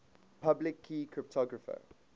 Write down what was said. public key cryptography